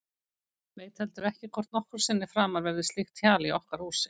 Veit heldur ekki hvort nokkru sinni framar verður slíkt hjal í okkar húsi.